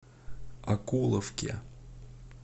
окуловке